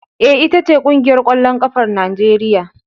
E, Ita ce ƙungiyar ƙwallon ƙafar Najeriya.